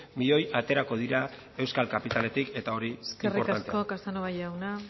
miloi aterako dira euskal kapitaletik eta hori inportantea da eskerrik asko casanova jauna